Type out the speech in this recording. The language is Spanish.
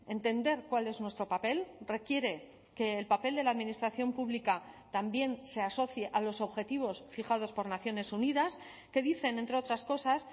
entender cuál es nuestro papel requiere que el papel de la administración pública también se asocie a los objetivos fijados por naciones unidas que dicen entre otras cosas